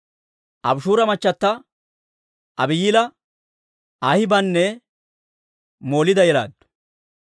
Abishuura machata Abihayila Ahibaananne Moliida yelaaddu.